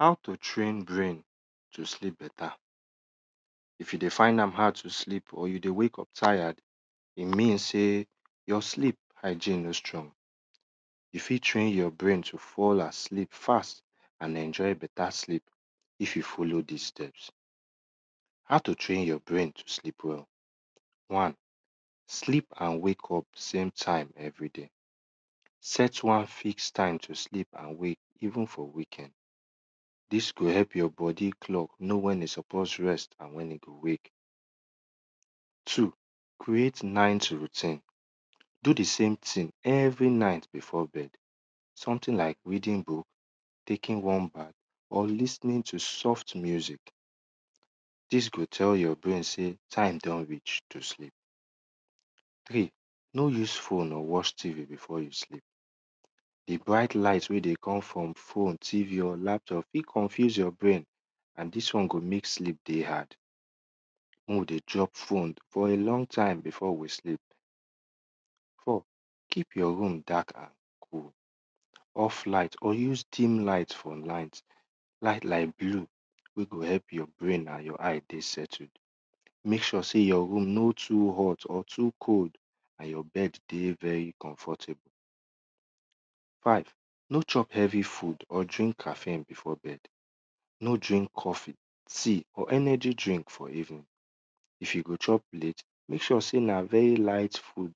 How to train brain to sleep beta. If you dey find am hard to sleep or you dey wake up tired, e mean ey your sleep hygine no strong. You fit train your brain to fall asleep fast and enjoy beta sleep if you follow dis steps. How to train yur brain to sleep well? One sleep and wake up same time everyday, set one fix time to sleep and wake even for weekend, dis go help your bodi know wen e suppose rest nd wen e go wake. Two creat night routin, do di same thing every night before bed, something like reading book or lis ten to soft music, dis go tell your braian sey time do reach to sleep. Three no use phone o watch tv before you sleep, di bright fit deycome from phone, tv or laptop fit confuse your brqain and dis won go mek sleep dey hard. Mek we dey drop pohone for a long time before we sleep. Four keep yur room darket before you sleep, off light or use dim light or night light like blue wey go help your brain and your eye dey settled. Mek sure sey yur room not too hot or too cold and yur bed dey very comfortable. Five, no chop heavy food or drink caffin before bed, no drink coffe, tea or energy drink for evening. If yu go chop late mek sure sey ne very light food.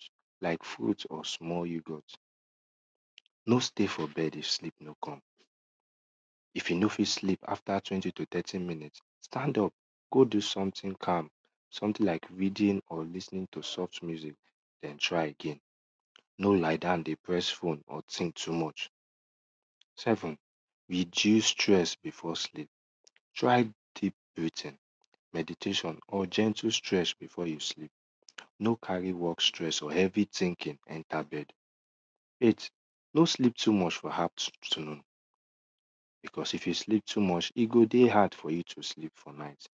No stay for bed if sleep no come, if yu no fit sleepafta twenty to thirty minute, stand up go do something calm, something like reading or lis ten ing to soft music or try again, no lie down dey poress phone or think too much. Seven reduce stress before sleep. Try meditation or gentle strength before you sleep, no carry stress or heavy thinking ebter bed. Bet no sleep too much for afternoon because if you sleep too much, e go deyhard for you to sleep for night,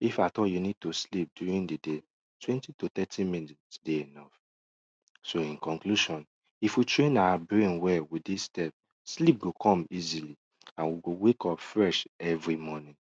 if at all yu need to sleep during di day, twenty to thirty minute dey enough. So inconclusion, if we train our brain well with dis sttepo, sleep gpo come easily and we go wake up fresh every mo rning.